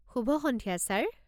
শুভ সন্ধিয়া ছাৰ!